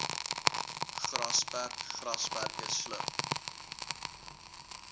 grasperk grasperke slurp